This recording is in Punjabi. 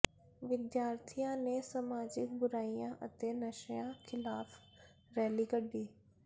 ਵਿਦਿਆਰਥੀਆਂ ਨੇ ਸਮਾਜਿਕ ਬੁਰਾਈਆਂ ਅਤੇ ਨਸ਼ਿਆਂ ਿਖ਼ਲਾਫ਼ ਰੈਲੀ ਕੱਢੀ